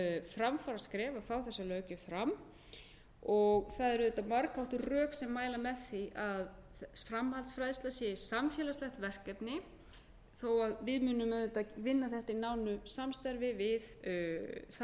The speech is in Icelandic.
framfaraskref að fá þessa löggjöf fram og það eru auðvitað margháttuð rök sem mæla með því að framhaldsfræðsla sé samfélagslegt verkefni þó að við munum auðvitað vinna þetta í nánu samstarfi við þá